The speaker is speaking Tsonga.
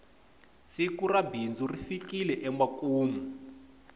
siku ra bindzu ri fikile emakumu